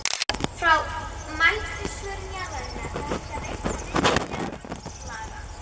Frá mældri svörun jarðarinnar er hægt að reikna viðnám jarðlaga.